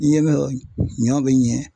N ye min fɔ ɲɔ bɛ ɲɛ.